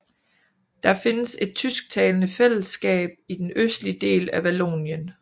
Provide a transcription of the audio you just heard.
Der findes et tysktalende fællesskab i den østlige del af Vallonien